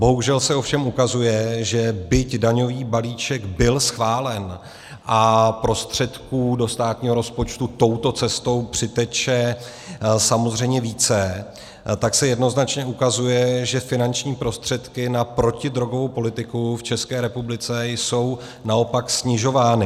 Bohužel se ovšem ukazuje, že byť daňový balíček byl schválen a prostředků do státního rozpočtu touto cestou přiteče samozřejmě více, tak se jednoznačně ukazuje, že finanční prostředky na protidrogovou politiku v České republice jsou naopak snižovány.